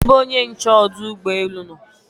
kedu ebe onye nche ọdụ ụgbọ elu nọ?